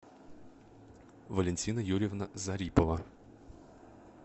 валентина юрьевна зарипова